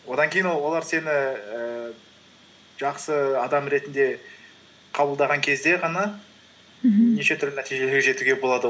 одан кейін олар сені ііі жақсы адам ретінде қабылдаған кезде ғана мхм неше түрлі нәтижеге жетуге болады